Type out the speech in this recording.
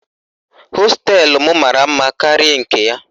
Hosteelụ m mara mma karịa nke ya.